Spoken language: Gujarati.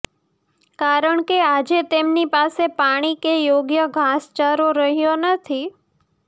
કારણ કે આજે તેમની પાસે પાણી કે યોગ્ય ઘાસચારો રહ્યો નથી